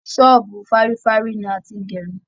ṣọbu fárîfárí ni a ti ń gerun